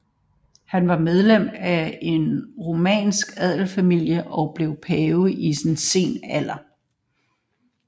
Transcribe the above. Han var medlem af en romersk adelsfamilie og blev pave i sen alder